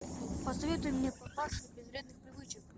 посоветуй мне папаша без вредных привычек